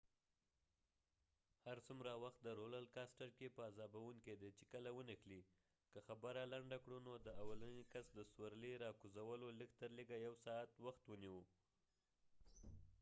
هر څومره وخت د رولر کاستر roller coasterکې په عذابوونکې دي چې کله ونښلی ، که خبره لنډه کړو نو د اولنی کس د سورلی را کوزولو لږ تر لږه یو ساعت وخت ونیوه